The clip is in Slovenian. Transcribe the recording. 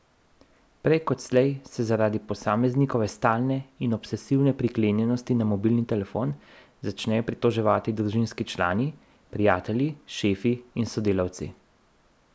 Prej kot slej se zaradi posameznikove stalne in obsesivne priklenjenosti na mobilni telefon, začnejo pritoževati družinski člani, prijatelji, šefi in sodelavci.